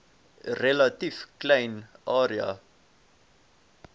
relatief klein area